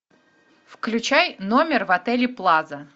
включай номер в отеле плаза